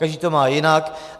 Každý to má jinak.